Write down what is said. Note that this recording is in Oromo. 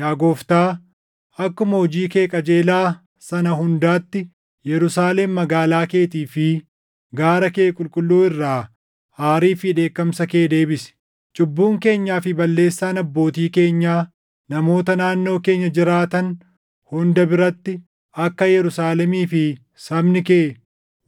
Yaa Gooftaa, akkuma hojii kee qajeelaa sana hundaatti Yerusaalem magaalaa keetii fi gaara kee qulqulluu irraa aarii fi dheekkamsa kee deebisi. Cubbuun keenyaa fi balleessaan abbootii keenyaa namoota naannoo keenya jiraatan hunda biratti akka Yerusaalemii fi sabni kee